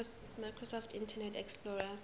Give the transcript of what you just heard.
microsoft internet explorer